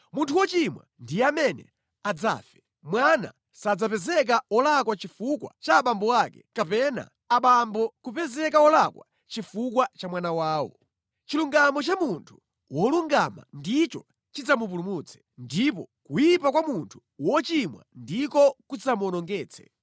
Munthu wochimwa ndiye amene adzafe. Mwana sadzapezeka wolakwa chifukwa cha abambo ake, kapena abambo kupezeka wolakwa chifukwa cha mwana wawo. Chilungamo cha munthu wolungama ndicho chidzamupulutse, ndipo kuyipa kwa munthu wochimwa ndiko kudzamuwonongetse.